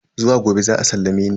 Zuwa gobe za a sallame ni.